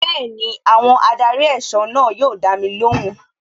Bẹẹni, àwọn adarí ẹ̀sọ́ náà yóò dami lóhùn.